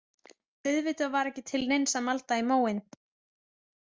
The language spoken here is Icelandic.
Auðvitað var ekki til neins að malda í móinn.